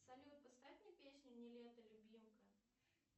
салют поставь мне песню нилетто любимка